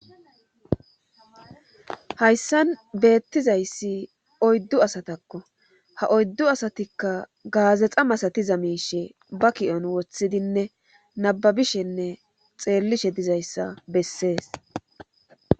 Hayssan beettizayssi oyddu asatakko ha oyddu asatikka gaazexa masatiza miishe ba ki7on wothidinne nababishenne xeellishe dizayssa bessees.